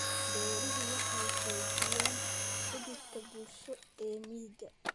Beeruhu waxay xoojiyaan xidhiidhka bulsho ee miyiga.